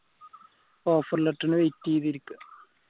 offer letter ന് wait എയ്ത ഇരിക്ക